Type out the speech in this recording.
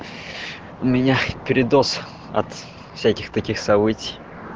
у меня передоз от всяких таких событий